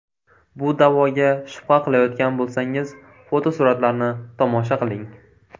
Bu da’voga shubha qilayotgan bo‘lsangiz, fotosuratlarni tomosha qiling!